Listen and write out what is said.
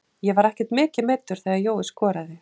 Ég var ekkert mikið meiddur þegar Jói skoraði.